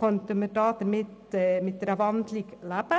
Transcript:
und somit mit einer Umwandlung in ein Postulat könnten wir grundsätzlich leben.